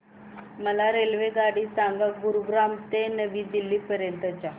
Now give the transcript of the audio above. मला रेल्वेगाडी सांगा गुरुग्राम ते नवी दिल्ली पर्यंत च्या